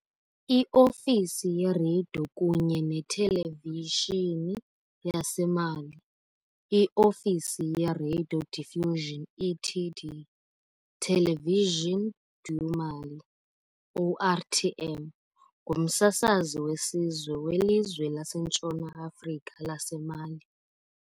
I-Ofisi yeRadio kunye neTelevishini yaseMali, "I-Ofisi ye-radiodiffusion et de télévision du Mali", ORTM, ngumsasazi wesizwe welizwe laseNtshona Afrika laseMali.